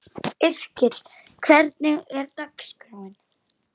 Yrkill, hvernig er dagskráin?